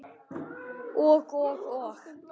Og, og, og.